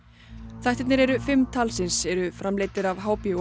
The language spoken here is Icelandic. þættirnir eru fimm talsins eru framleiddir af